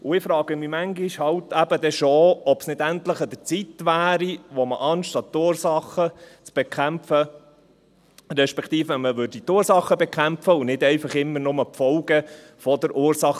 Und dann frage ich mich manchmal halt eben schon, ob es nicht endlich an der Zeit wäre, die Ursachen zu bekämpfen und nicht einfach immer nur die Folgen der Ursache.